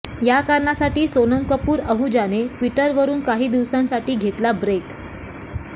या कारणासाठी सोनम कपूर अहुजाने ट्विटरवरुन काही दिवसांसाठी घेतला ब्रेक